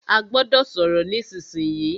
A gbọ́dọ̀ sọ̀rọ̀ nísìsiyìí!